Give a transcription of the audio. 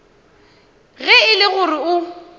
ge e le gore o